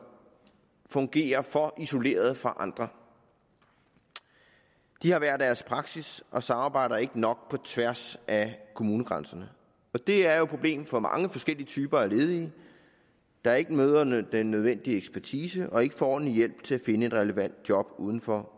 fungerer for isoleret fra andre de har hver deres praksis og samarbejder ikke nok på tværs af kommunegrænserne det er jo et problem for mange forskellige typer af ledige der ikke møder den nødvendige ekspertise og som ikke får en hjælp til at finde et relevant job uden for